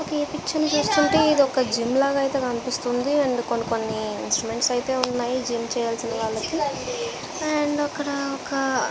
ఒక్ ఈ పిక్చర్ ని చూస్తుంటే ఒక జిమ్ లాగా కనిపిస్తుంది అండ్ కొన్ని కొన్ని ఇన్స్ట్రుమెంట్స్ అయితే ఉన్నాయి. జిమ్ చేయడానికి అండ్ అక్కడ ఒక --